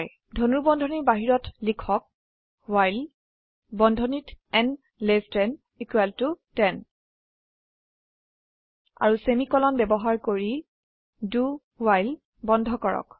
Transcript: ধনুৰ্বন্ধনীৰ বাহিৰত লিখক ৱ্হাইল বন্ধনীত ন লেস দেন ইকুয়াল টু 10 আৰু সেমিকোলন ব্যবহাৰ কৰি do ৱ্হাইল বন্ধ কৰক